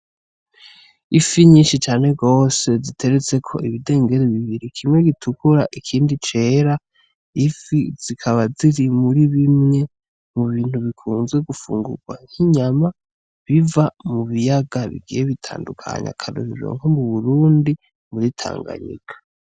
Ifi nyinshi cane gose ziteretseko ibidengeri bibiri, kimwe gitukura ikindi cera. Ifi zikaba ziri muri bimwe mu bintu bikunzwe gufungurwa nk'inyama biva mu biyaga bigiye bitandukanye, akarorero nko mu Burundi muri Tanganyika.